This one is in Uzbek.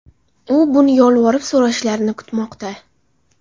U buni yolvorib so‘rashlarini kutmoqda”.